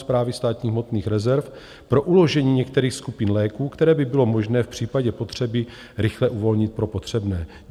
Správy státních hmotných rezerv pro uložení některých skupin léků, které by bylo možné v případě potřeby rychle uvolnit pro potřebné?